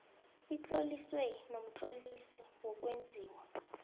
itloliswe nomtlolisi wokwenziwa